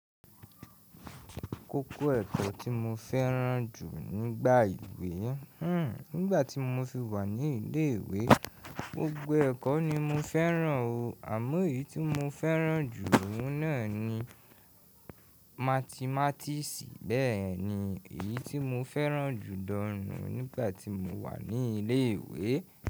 Kókó ẹ̀kọ́ tí mo fẹ́ràn jù nígbà ìwé, hmm nígbà tí mo fi wà ní ilé ìwé, gbogbo ẹ̀kọ́ ni mo fẹ́ràn o, àmọ́ èyí tí mo fẹ́ràn jù ọ̀ún náà ni mathmatics bẹ́ẹ̀ ni èyí tí mo fẹ́ràn jù gan nu nígbà tí mo wà ní ilé ìwé.